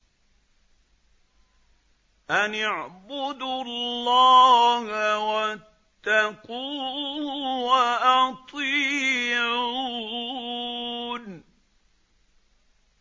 أَنِ اعْبُدُوا اللَّهَ وَاتَّقُوهُ وَأَطِيعُونِ